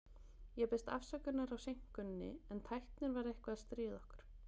Ég biðst afsökunar á seinkuninni, en tæknin var eitthvað að stríða okkur.